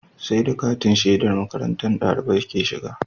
Sai da katin shedar makarantar ɗalibai ke shiga